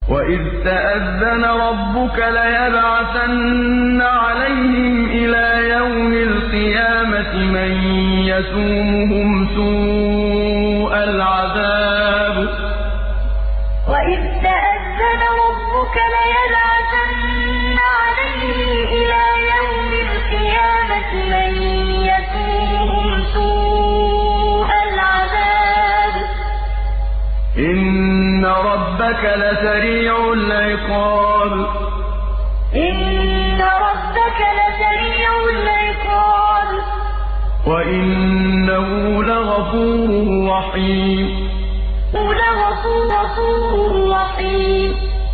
وَإِذْ تَأَذَّنَ رَبُّكَ لَيَبْعَثَنَّ عَلَيْهِمْ إِلَىٰ يَوْمِ الْقِيَامَةِ مَن يَسُومُهُمْ سُوءَ الْعَذَابِ ۗ إِنَّ رَبَّكَ لَسَرِيعُ الْعِقَابِ ۖ وَإِنَّهُ لَغَفُورٌ رَّحِيمٌ وَإِذْ تَأَذَّنَ رَبُّكَ لَيَبْعَثَنَّ عَلَيْهِمْ إِلَىٰ يَوْمِ الْقِيَامَةِ مَن يَسُومُهُمْ سُوءَ الْعَذَابِ ۗ إِنَّ رَبَّكَ لَسَرِيعُ الْعِقَابِ ۖ وَإِنَّهُ لَغَفُورٌ رَّحِيمٌ